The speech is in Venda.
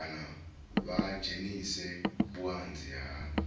kana vha dzhenise vhuanzi ha